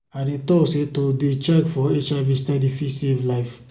i dey talk say to dey check for hiv steady fit save life.